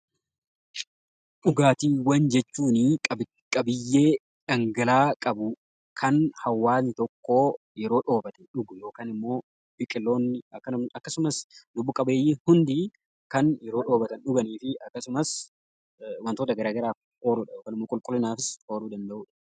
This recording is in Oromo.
Dhugaatiiwwan jechuun qabiyyee dhangal'aa qabu, kan hawwaasni tokko yeroo dheebote dhuguudha. Biqiloonni akkasumas lubbu qabeeyyiin hundi kan yeroo dheebotan dhuganiidha. Akkasumas wantoota garaa garaatiif oolu yookiin immoo qulqullinaafis ni ooluu.